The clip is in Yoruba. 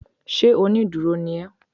Ṣé onídúró ni ó